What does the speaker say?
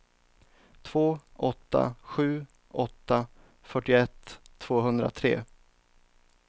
två åtta sju åtta fyrtioett tvåhundratre